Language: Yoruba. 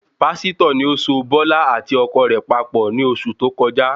Pásítọ̀ ni ó so bọ́lá àti ọkọ rẹ̀ papọ̀ ni oṣù tó kọjá